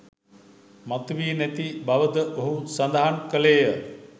මතු වී නැති බවද ඔහු සඳහන් කළේය.